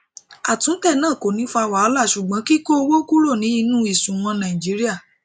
atún tẹ na kò ní ọ fà wàhálà sugbon kiko owó kúrò ní inú isuna naijiria